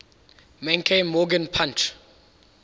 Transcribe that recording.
menke morgan punch